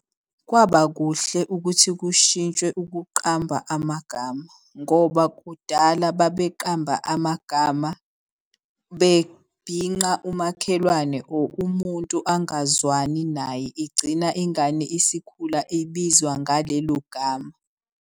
Kwaba kuhle ukuthi kushintshwe ukuqamba amagama ngoba kudala babeqamba amagama bebhinqa umakhelwane or umuntu angazwani naye. Igcina ingane isikhula ibizwa ngalelo gama.